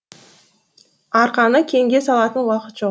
арқаны кеңге салатын уақыт жоқ